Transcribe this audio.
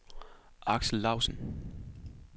Aksel Lausen